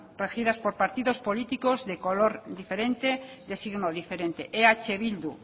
regidas por partidos políticos de color diferente de signo diferente eh bildu